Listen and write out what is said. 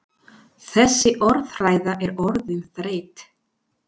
Þessi orðræða er orðin þreytt!